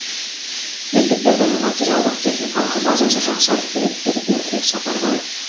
мектептердің материалдық техникалық базасы жақсарып келеді деді бердібек сапарбаев